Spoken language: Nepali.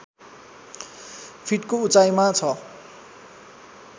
फिटको उचाइमा छ